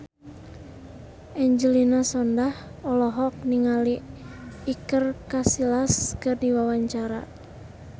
Angelina Sondakh olohok ningali Iker Casillas keur diwawancara